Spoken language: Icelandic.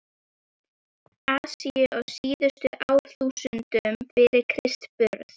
Asíu á síðustu árþúsundum fyrir Krists burð.